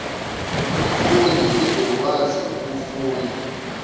umfundi uzokwazi ukufunda